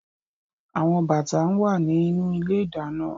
Awon bata naa wa ninu ile-idana